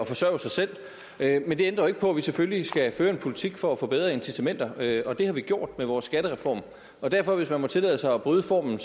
forsørge sig selv men det ændrer jo ikke på at vi selvfølgelig skal føre en politik for at få bedre incitamenter og det har vi gjort med vores skattereform derfor hvis man må tillade sig at bryde formen